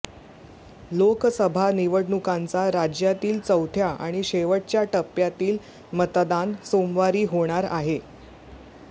लोकसभा निवडणुकांचा राज्यातील चौथ्या आणि शेवटच्या टप्प्यातील मतदान सोमवारी होणार आहे